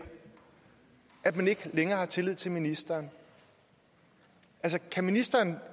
at man ikke længere har tillid til ministeren altså kan ministeren